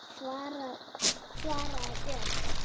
svaraði Björg.